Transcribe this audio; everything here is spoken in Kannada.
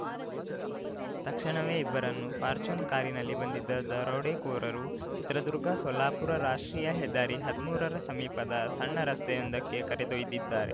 ತಕ್ಷಣವೇ ಇಬ್ಬರನ್ನೂ ಫಾಚ್ರ್ಯೂನರ್‌ ಕಾರಿನಲ್ಲಿ ಬಂದಿದ್ದ ದರೋಡೆಕೋರರು ಚಿತ್ರದುರ್ಗಸೊಲ್ಲಾಪುರ ರಾಷ್ಟ್ರೀಯ ಹೆದ್ದಾರಿಹದ್ಮೂರರ ಸಮೀಪದ ಸಣ್ಣ ರಸ್ತೆಯೊಂದಕ್ಕೆ ಕರೆದೊಯ್ದಿದ್ದಾರೆ